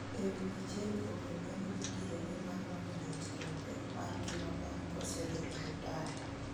ewi achiel kuom jolendo mongirore mar wang' liech kuom pek mar ngima bang' kosedhi e rutaya